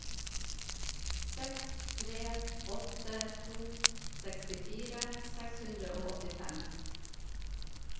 seks tre åtte to sekstifire seks hundre og åttifem